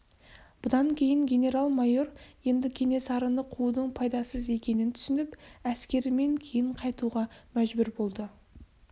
бұдан кейін генерал-майор енді кенесарыны қуудың пайдасыз екенін түсініп әскерімен кейін қайтуға мәжбүр болды